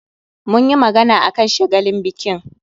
Mun yi magana akan shagalin bikin